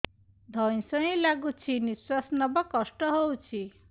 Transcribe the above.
ଧଇଁ ସଇଁ ଲାଗୁଛି ନିଃଶ୍ୱାସ ନବା କଷ୍ଟ ହଉଚି